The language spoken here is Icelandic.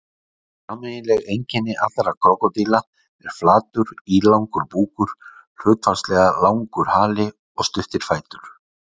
Sameiginleg einkenni allra krókódíla er flatur, ílangur búkur, hlutfallslega langur hali og stuttir fætur.